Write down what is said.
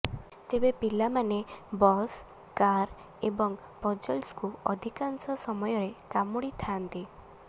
ତେବେ ପିଲାମାନେ bus car ଏବଂ ପଜଲ୍ସକୁ ଅଧିକାଂଶ ସମୟରେ କାମୁଡ଼ିଥାଆନ୍ତି